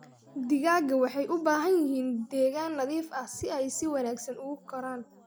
Digaagga waxay u baahan yihiin deegaan nadiif ah si ay si wanaagsan ugu koraan.